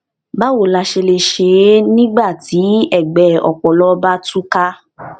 báwo la ṣe lè ṣe é nígbà tí ègbẹ ọpọlọ bá tú ká